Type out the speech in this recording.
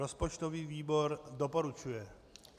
Rozpočtový výbor doporučuje.